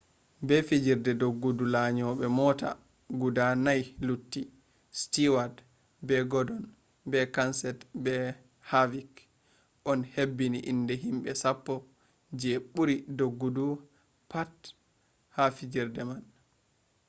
be fijerde doggudu lanyoɓe mota guda nai lutti stewat be godon be kenset be havik on hebbini inde himɓe sappo je ɓuri doggudu ha pat fijerde man